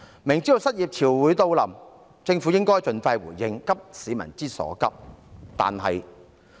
明知失業潮會來臨，政府應該盡快回應，急市民之所急。